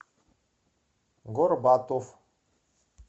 горбатов